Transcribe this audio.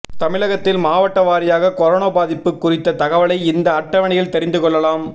தமிழகத்தில் மாவட்டவாரியாக கொரோனா பாதிப்பு குறித்த தகவலை இந்த அட்டவணையில் தெரிந்து கொள்ளலாம்